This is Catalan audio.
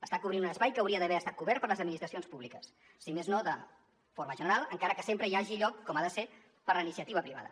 està cobrint un espai que hauria d’haver estat cobert per les administracions públiques si més no de forma general encara que sempre hi hagi lloc com ha de ser per a la iniciativa privada